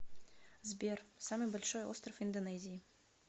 сбер самый большой остров индонезии